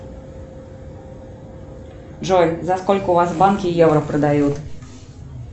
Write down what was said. джой за сколько у вас в банке евро продают